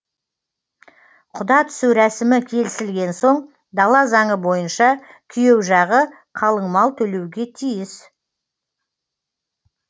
құда түсу рәсімі келісілген соң дала заңы бойынша күйеу жағы қалың мал төлеуге тиіс